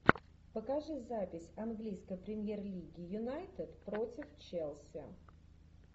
покажи запись английской премьер лиги юнайтед против челси